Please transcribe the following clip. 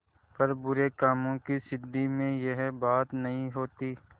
पर बुरे कामों की सिद्धि में यह बात नहीं होती